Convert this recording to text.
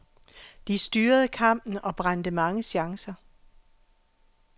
De styrede kampen og brændte mange chancer.